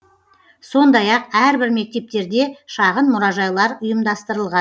сондай ақ әрбір мектептерде шағын мұражайлар ұйымдастырылған